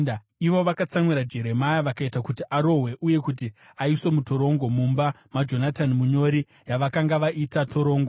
Ivo vakatsamwira Jeremia vakaita kuti arohwe uye kuti aiswe mutorongo mumba maJonatani munyori, yavakanga vaita torongo.